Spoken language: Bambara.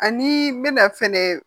Ani bɛna fɛnɛ